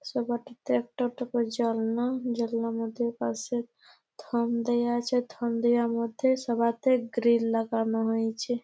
সবাটিতে একটা একটা করে জানলা। জানলা মধ্যে পাশে থাম দেয়া আছে থাম দেয়ার মধ্যে সবাতে গ্রিল লাগানো হইঞ্ছে।